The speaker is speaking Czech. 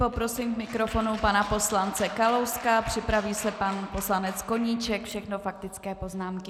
Poprosím k mikrofonu pana poslance Kalouska, připraví se pan poslanec Koníček, všechno faktické poznámky.